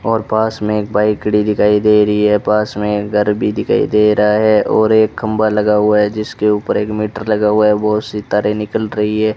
और पास मे एक बाइक खड़ी दिखाई दे रही है पास में घर भी दिखाई दे रहा है और एक खंभा लगा हुआ है जिसके ऊपर एक मीटर लगा हुआ है बोहोत सी तारे निकल रही है।